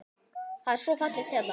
Það er svo fallegt hérna.